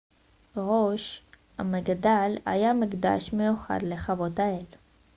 ראש המגדל היה מקדש מיוחד לכבוד האל